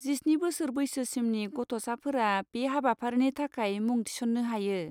जिस्नि बोसोर बैसोसिमनि गथ'साफोरा बे हाबाफारिनि थाखाय मुं थिसन्नो हायो।